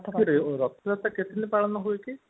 ରଥ ଯାତ୍ରା କେତେ ଦିନ ପାଳନ ହୁଏ କି